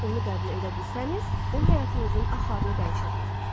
Lakin onu qəbul edə bilsəniz, o həyatınızın axarını dəyişər.